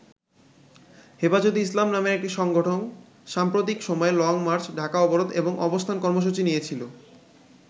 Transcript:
হেফাজতে ইসলাম নামের একটি সংগঠন সাম্প্রতিক সময়ে লংমার্চ, ঢাকা অবরোধ এবং অবস্থান কর্মসূচি নিয়েছিল।